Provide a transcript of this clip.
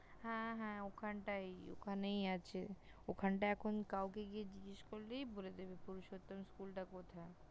হ্যাঁ হ্যাঁ ওখানটায়, ওখানেই আছে। ওখানটায় এখন কাউকে গিয়ে জিগেস করলেই বলে দেবে পুরুষোত্তম School টা কোথায়